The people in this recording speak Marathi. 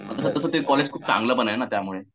तसं तसं ते कॉलेज खूप चांगलं पण आहे ना त्यामुळे.